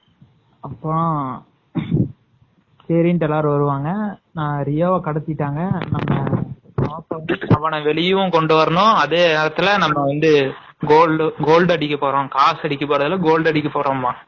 அப்பறம் சரினு எல்லாரும் வருவாங்க ரியோவ கடத்திட்டாங்க.நம்ம வெளியவும் கொண்டுவரனும், அதே நேரத்துல நம்ம வந்து gold அடிக்கப்போறோம், காசடிக்கப்போறோம்